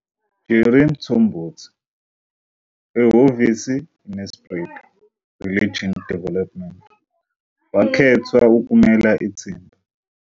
Jerry Mthombothi ehhovisi iNelspruit Regional Development, wakhethwa ukumela ithimba.